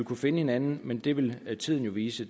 kan finde hinanden men det vil tiden vise